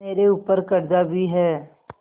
मेरे ऊपर कर्जा भी है